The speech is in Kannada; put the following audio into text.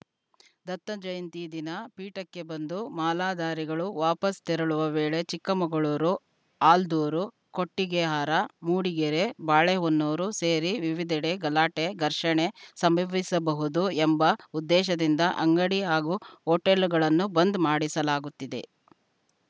ದತ್ತಜಯಂತಿ ದಿನ ಪೀಠಕ್ಕೆ ಬಂದು ಮಾಲಾಧಾರಿಗಳು ವಾಪಾಸ್‌ ತೆರಳುವ ವೇಳೆ ಚಿಕ್ಕಮಗಳೂರು ಆಲ್ದೂರು ಕೊಟ್ಟಿಗೆಹಾರ ಮೂಡಿಗೆರೆ ಬಾಳೆಹೊನ್ನೂರು ಸೇರಿ ವಿವಿಧೆಡೆ ಗಲಾಟೆ ಘರ್ಷಣೆ ಸಂಭವಿಸಬಹುದು ಎಂಬ ಉದ್ದೇಶದಿಂದ ಅಂಗಡಿ ಹಾಗೂ ಹೋಟೆಲ್‌ಗಳನ್ನು ಬಂದ್‌ ಮಾಡಿಸಲಾಗುತ್ತಿದೆ